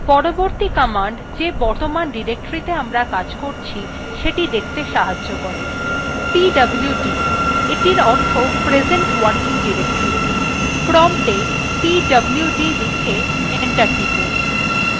পরবর্তী command the বর্তমান directorythe আমরা কাজ করছি সেটি দেখতে সাহায্য করে pwd অর্থে present working deroctory বোঝায় প্রম্পটwe pwd লিখে enter টিপুন